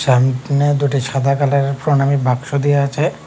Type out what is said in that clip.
চাইন টেনে দুটি সাদা কালারের প্রনামী বাক্স দেওয়া আছে।